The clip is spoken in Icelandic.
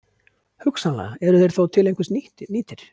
Hugsanlega eru þeir þó til einhvers nýtir.